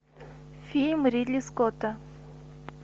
фильм ридли скотта